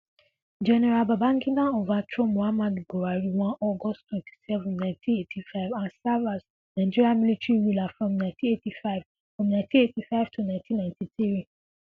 Gen Babangida overthrow Muhammadu Buhari on August twenty Seven Ninety Eighty five and serve as Nigeria military ruler from Ninety Eighty five from Ninety Eighty five to Ninety Ninety three